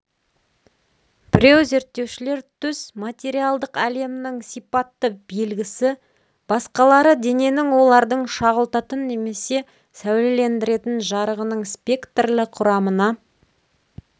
біреу зерттеушілер түс материалдық әлемнің сипатты белгісі басқалары дененің олардың шағылтатын немесе сәулелендіретін жарығының спектрлі құрамына